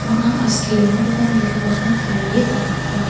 bang·a askirangkoba nitoatna tarie donaha.